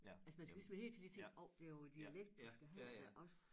Altså man skal ligesom hele tiden lige tænke åh det jo æ dialekt du skal have også